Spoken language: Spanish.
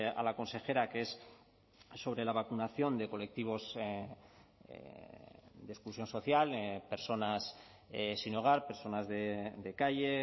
a la consejera que es sobre la vacunación de colectivos de exclusión social personas sin hogar personas de calle